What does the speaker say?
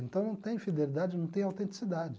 Então, não tem fidelidade, não tem autenticidade.